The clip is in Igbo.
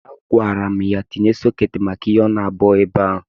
A gwara m ya ka o tinye sọketi maka ihe ọnụ abụọ ebe a.